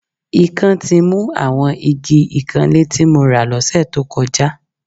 Ikán ti mu àwọn igi ìkanlé tí mo rà lọ́sẹ̀ tó kọjá